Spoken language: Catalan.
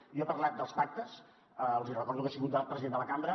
jo he parlat dels pactes els hi recordo que he sigut president de la cambra